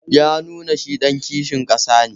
Ya nuna shi ɗan kishin ƙasa ne.